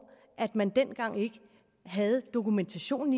at man dengang ikke havde dokumentationen